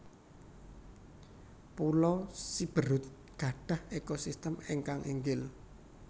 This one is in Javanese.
Pulo Siberut gadhah ekosistem ingkang inggil